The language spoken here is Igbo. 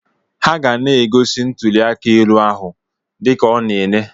Ha ga na-egosi ntụli aka elu ahụ dị ka ọ na Ene.